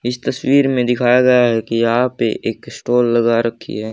इस तस्वीर में दिखाया गया है की यहां पे एक स्टोअर लगा रखी है।